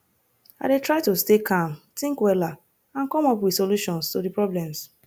i dey try to stay calm think wella and come up with solutions to di problems